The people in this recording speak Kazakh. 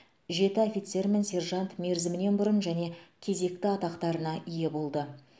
жеті офицер мен сержант мерзімінен бұрын және кезекті атақтарына ие болды